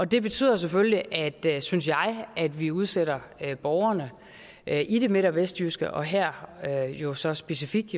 det betyder jo selvfølgelig synes jeg at vi unødigt udsætter borgerne i det midt og vestjyske her jo så specifikt